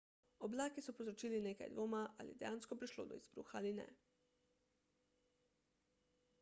oblaki so povzročili nekaj dvoma ali je dejansko prišlo do izbruha ali ne